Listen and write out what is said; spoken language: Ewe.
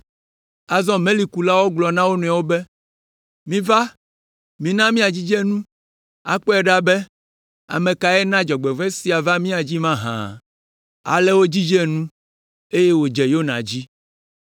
Azɔ melikulawo gblɔ na wo nɔewo be, “Miva, mina míadzidze nu, akpɔe ɖa be ame kae na dzɔgbevɔ̃e sia va mía dzi mahã.” Ale wodzidze nu, eye wòdze Yona dzi.